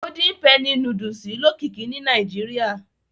Golden penny núdúsì lókìkí ni Nàìjíríà